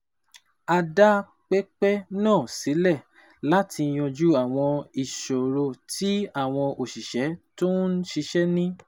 A dá pẹpẹ náà sílẹ̀ láti yanjú àwọn ìṣòro tí àwọn òṣìṣẹ́ tó ń ṣiṣẹ́ ní